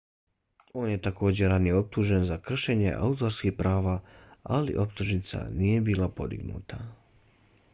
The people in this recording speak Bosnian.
on je takođe ranije optužen za kršenje autorskih prava ali optužnica nije bila podignuta